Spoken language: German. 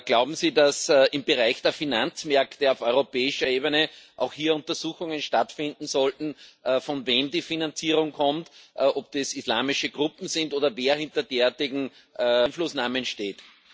Glauben Sie, dass im Bereich der Finanzmärkte auf europäischer Ebene auch hier Untersuchungen stattfinden sollten, von wem die Finanzierung kommt, ob das islamische Gruppen sind oder wer hinter derartigen Einflussnahmen steht?